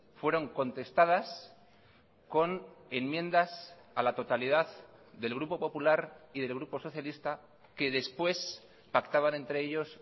fueron contestadas con enmiendas a la totalidad del grupo popular y del grupo socialista que después pactaban entre ellos